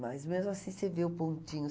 Mas mesmo assim, você vê o pontinho.